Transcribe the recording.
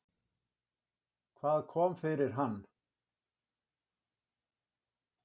Hvað kom fyrir hann?